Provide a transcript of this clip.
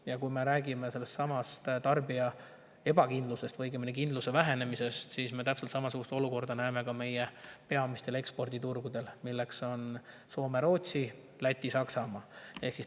Ja kui me räägime tarbija ebakindlusest või õigemini kindluse vähenemisest, siis me näeme täpselt samasugust olukorda ka meie peamistel eksporditurgudel, milleks on Soome, Rootsi, Läti ja Saksamaa.